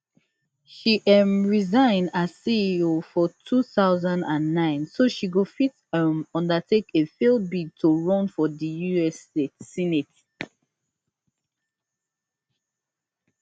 she um resign as ceo for two thousand and nine so she go fit um undertake a failed bid to run for di us senate